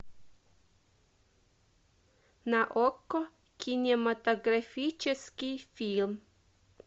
на окко кинематографический фильм